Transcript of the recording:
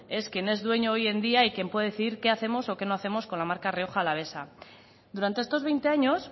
es quien es dueño hoy en día y quien puede decidir qué hacemos o qué no hacemos con la marca rioja alavesa durante estos veinte años